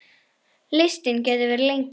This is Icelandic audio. Listinn gæti verið lengri.